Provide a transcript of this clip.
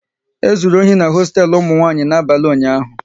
E zụrụ ohi n'hosteelu ụmụ nwanyị n'abalị ụnyaahụ